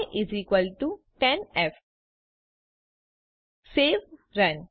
y10f સવે run